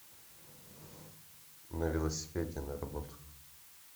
на велосипеде на работу